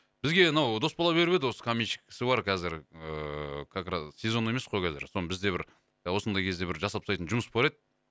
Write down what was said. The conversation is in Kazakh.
бізге мынау дос бала беріп еді осы каменщик кісі бар қазір ыыы как раз сезон емес қой қазір соны бізде бір осындай кезде бір жасап тастайтын жұмыс бар еді